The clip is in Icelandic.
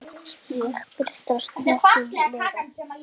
Hér birtast nokkrar þeirra.